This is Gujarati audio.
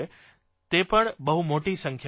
તે પણ બહુ મોટી સંખ્યામાં છે